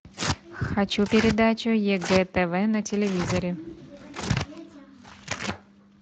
хочу передачу егэ тв на телевизоре